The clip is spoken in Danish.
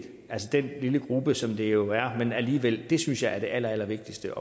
altså den lille gruppe som det jo er men alligevel det synes jeg er det allerallervigtigste